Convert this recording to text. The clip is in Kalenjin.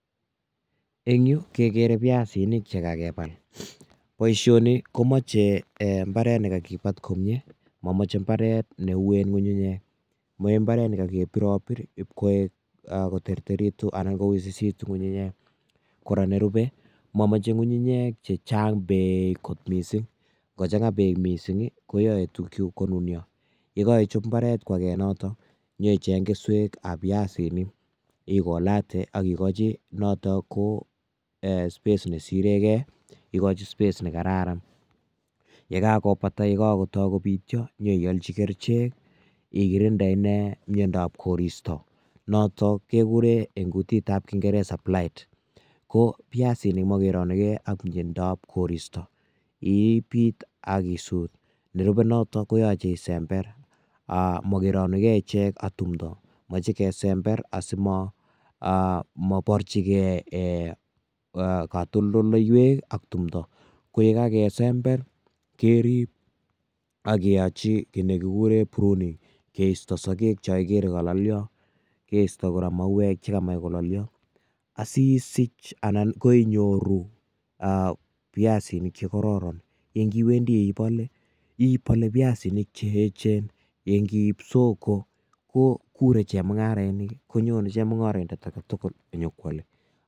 Eng yu kekerer piasinik che kakebal, boisioni komoche um mbaret ne kakebat komie, momoche mbaret ne uen ngunyunyek, mochei mbaret ne kakebirobir ii ipkoek koterteritu anan kowisisitu ngunyunyek, kora nerube momoche ngunyunyek ne chang beek kot mising, ngo changa beek mising koyoe tukchu konunyo. Ye kaichop mbaret kwake notok, nyoicheng keswekab piasinik, ikolate ak ikochi noto ko space nesirekei, ikochi space ne kararan. Ye kakobata ye kakotoi kopityo nyeiolchi kerichek ikirinde inne miondab koristo notok kekure eng kutitab kingeresa plight. Ko piasinik makeranukei ak miandab koristo, ipiit ak isut, nerubei noto koyache isember um mokeranukei ichek ak tumdo mochei kesember asi moborchikei katoldoleiwek ak tumdo, ko ye kakesember kerip ak keyachi kiy ne kikure prunning keisto sokek cho ikere kalalya, keisto kora mauwek che kamach kalalyo, asi isich anan ko inyoru um piasinik che kororon ye ngiwendi ibole, ibole piasinik che eechen, ye ngiip soko ko kure chemungarainik konyone chemungoroindet ake tugul nyo ko kwale.